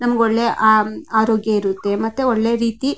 ನಮಗೆ ಒಳ್ಳೆ ಆರೋಗ್ಯ ಇರುತ್ತೆ ಮತ್ತೆ ಒಳ್ಳೆ ರೀತಿ --